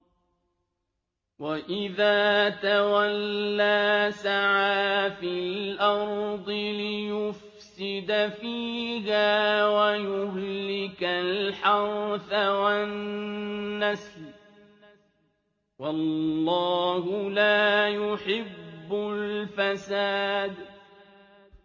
وَإِذَا تَوَلَّىٰ سَعَىٰ فِي الْأَرْضِ لِيُفْسِدَ فِيهَا وَيُهْلِكَ الْحَرْثَ وَالنَّسْلَ ۗ وَاللَّهُ لَا يُحِبُّ الْفَسَادَ